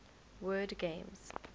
word games